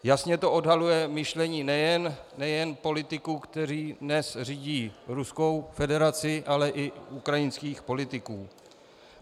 Jasně to odhaluje myšlení nejen politiků, kteří dnes řídí Ruskou federaci, ale i ukrajinských politiků.